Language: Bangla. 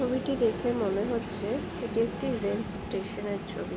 ছবিটি দেখে মনে হচ্ছে এটি একটি রেল স্টেশন এর ছবি।